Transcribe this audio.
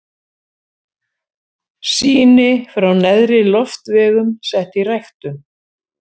Sýni frá neðri loftvegum sett í ræktun.